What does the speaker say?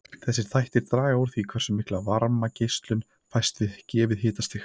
Þessir þættir draga úr því hversu mikil varmageislun fæst við gefið hitastig.